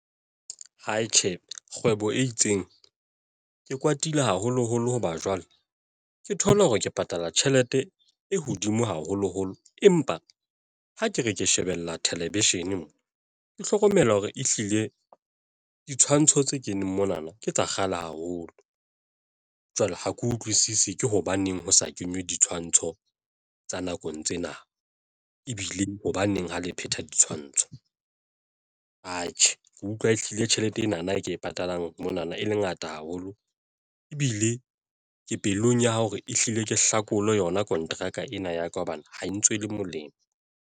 Tjhe, kgwebo e itseng ke kwatile haholoholo hoba jwale ke thola hore ke patala tjhelete e hodimo haholoholo empa ha ke re ke shebella thelevishine mo ke hlokomela hore ehlile ditshwantsho tse keneng monana ke tsa kgale haholo jwale ha ke utlwisisi ke hobaneng ho sa kenywe ditshwantsho tsa nakong tsena ebile hobaneng ha le phetha ditshwantsho. Atjhe, ke utlwa e hlile tjhelete ena na e ke e patalang mona na e le ngata haholo ebile ke pelong ya hore ehlile ke hlakole yona kontraka ena ya ka hobane ha e ntswele le molemo.